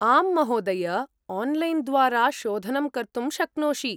आम्, महोदय, आन्लैन् द्वारा शोधनं कर्तुं शक्नोषि।